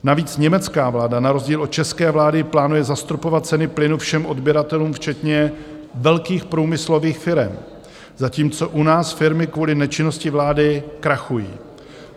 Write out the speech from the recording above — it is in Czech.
Navíc německá vláda na rozdíl od české vlády plánuje zastropovat ceny plynu všem odběratelům, včetně velkých průmyslových firem, zatímco u nás firmy kvůli nečinnosti vlády krachují.